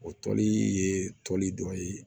O toli ye toli dɔ ye